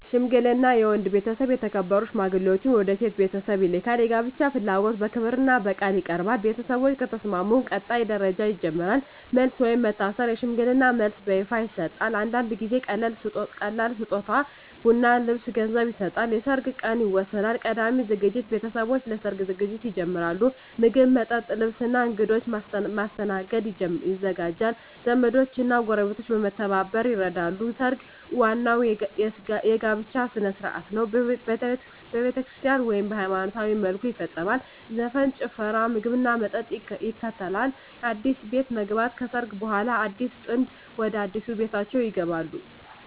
ሽምግልና የወንድ ቤተሰብ የተከበሩ ሽማግሌዎችን ወደ የሴት ቤተሰብ ይልካል። የጋብቻ ፍላጎት በክብርና በቃል ይቀርባል። ቤተሰቦች ከተስማሙ ቀጣይ ደረጃ ይጀምራል። መልስ (ወይም መታሰር) የሽምግልና መልስ በይፋ ይሰጣል። አንዳንድ ጊዜ ቀላል ስጦታ (ቡና፣ ልብስ፣ ገንዘብ) ይሰጣል። የሰርግ ቀን ይወሰናል። ቀዳሚ ዝግጅት ቤተሰቦች ለሰርግ ዝግጅት ይጀምራሉ። ምግብ፣ መጠጥ፣ ልብስ እና እንግዶች ማስተናገድ ይዘጋጃል። ዘመዶች እና ጎረቤቶች በመተባበር ይረዳሉ። ሰርግ ዋናው የጋብቻ ሥነ ሥርዓት ነው። በቤተክርስቲያን (ወይም በሃይማኖታዊ መልኩ) ይፈጸማል። ዘፈን፣ ጭፈራ፣ ምግብና መጠጥ ይከተላል። አዲስ ቤት መግባት (ከሰርግ በኋላ) አዲሱ ጥንድ ወደ አዲስ ቤታቸው ይገባሉ።